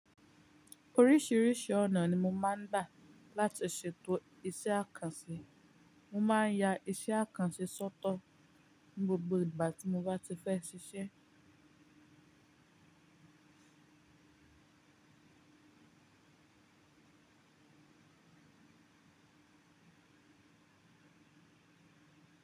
Oríṣiríṣi ọ̀nà ni mo máa ń gbà láti ṣètò iṣẹ́ àkànṣe. Mo máa ń ya iṣẹ́ àkànṣe sọ́tọ̀ ní gbogbo ìgbà tí mo bá ti fẹ́ ṣiṣẹ́.